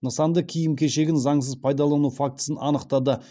нысанды киім кешегін заңсыз пайдалану фактісін анықтады